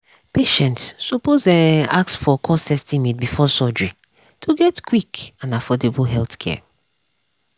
patients suppose um ask for cost estimate before surgery to get quick and affordable healthcare.